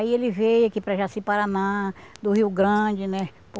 Aí ele veio aqui para Jaci-Paraná, do Rio Grande, né?